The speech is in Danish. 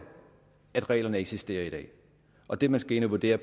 at reglerne eksisterer i dag og det man skal ind at vurdere